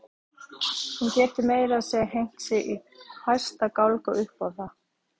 Hún getur meira að segja hengt sig í hæsta gálga upp á það.